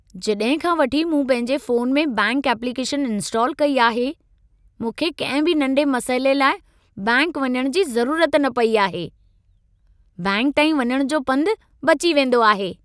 जॾहिं खां वठी मूं पंहिंजे फ़ोन में बैंकि एप्लीकेशन इंस्टाल कई आहे, मूंखे कंहिं बि नंढे मसइले लाइ बैंकि वञण जी ज़रूरत न पई आहे। बैंकि ताईं वञण जो पंध बची वेंदो आहे।